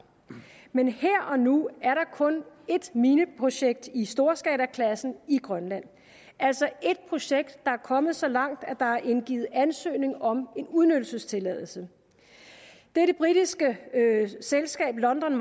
men her og nu er der kun ét mineprojekt i storskalaklassen i grønland altså ét projekt der er kommet så langt at der er indgivet ansøgning om en udnyttelsestilladelse det er det britiske selskab london